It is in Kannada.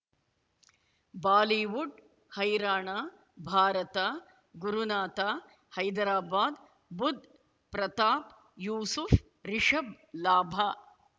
ಬಾಲಿವುಡ್ ಹೈರಾಣ ಭಾರತ ಗುರುನಾಥ ಹೈದರಾಬಾದ್ ಬುಧ್ ಪ್ರತಾಪ್ ಯೂಸುಫ್ ರಿಷಬ್ ಲಾಭ